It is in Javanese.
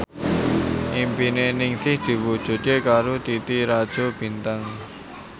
impine Ningsih diwujudke karo Titi Rajo Bintang